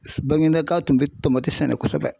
Bangindaka tun bɛ tomati sɛnɛ kosɛbɛ